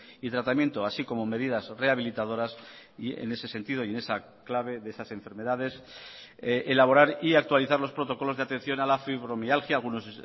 y tratamiento así como medidas rehabilitadoras y en ese sentido y en esa clave de esas enfermedades elaborar y actualizar los protocolos de atención a la fibromialgia algunos